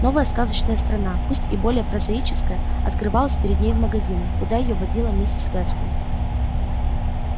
новая сказочная страна пусть и более прозаическая открывалась перед ней в магазинах куда её водила миссис вестон